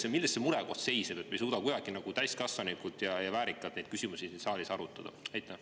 Või milles see murekoht seisneb, et me ei suuda täiskasvanulikult ja väärikalt neid küsimusi siin saalis arutada?